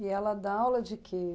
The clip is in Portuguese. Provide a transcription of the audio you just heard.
E ela dá aula de que?